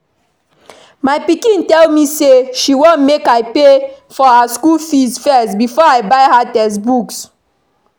My pikin tell me say she wan make I pay for her school fees first before I buy her textbooks